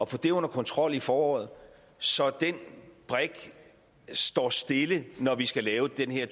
få det under kontrol i foråret så den brik står stille når vi skal lave den her